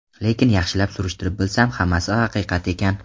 Lekin yaxshilab surishtirib bilsam, hammasi haqiqat ekan.